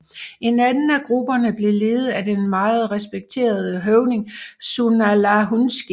En anden af grupperne blev ledet af den meget respekterede høvding Tsunalahunski